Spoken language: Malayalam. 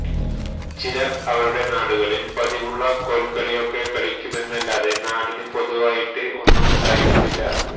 ചിലര് അവരുടെ നാടുകളില് പതിവുള്ള കോല്കളിയൊക്കെ കളിക്കുമെന്നല്ലാതെ നാടിന് പൊതുവായിട്ട് ഒന്നുമുണ്ടായിരുന്നില്ല